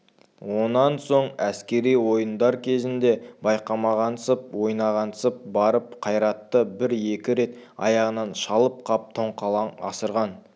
онан соң әскери ойындар кезінде байқамағансып ойнағансып барып қайратты бір-екі рет аяғынан шалып қап тоңқалаң асырған